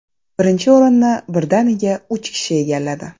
Birinchi o‘rinni birdaniga uch kishi egalladi .